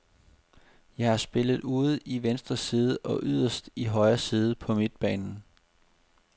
Jeg har spillet ude i venstre side og yderst i højre side på midtbanen.